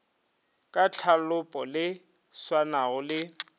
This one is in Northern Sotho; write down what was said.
ka tlhalopo le swanago le